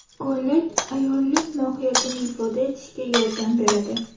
Ko‘ylak − ayollik mohiyatini ifoda etishga yordam beradi.